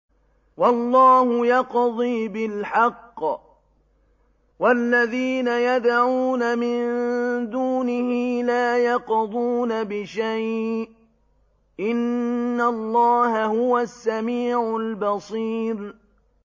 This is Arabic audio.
وَاللَّهُ يَقْضِي بِالْحَقِّ ۖ وَالَّذِينَ يَدْعُونَ مِن دُونِهِ لَا يَقْضُونَ بِشَيْءٍ ۗ إِنَّ اللَّهَ هُوَ السَّمِيعُ الْبَصِيرُ